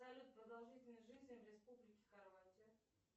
салют продолжительность жизни в республике хорватия